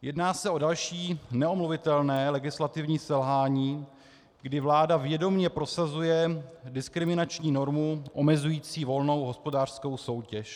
Jedná se o další neomluvitelné legislativní selhání, kdy vláda vědomě prosazuje diskriminační normu omezující volnou hospodářskou soutěž.